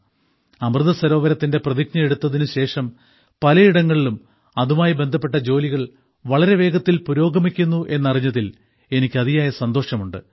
അമൃതസരോവരത്തിന്റെ പ്രതിജ്ഞ എടുത്തതിനുശേഷം പലയിടങ്ങളിലും അതുമായി ബന്ധപ്പെട്ട ജോലികൾ വളരെ വേഗത്തിൽ പുരോഗമിക്കുന്നു എന്നറിഞ്ഞതിൽ എനിക്ക് അതിയായ സന്തോഷമുണ്ട്